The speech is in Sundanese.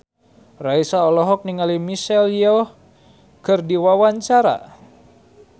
Raisa olohok ningali Michelle Yeoh keur diwawancara